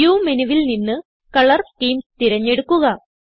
view മെനുവിൽ നിന്ന് colour schemes തിരഞ്ഞെടുക്കുക